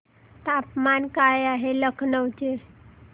तापमान काय आहे लखनौ चे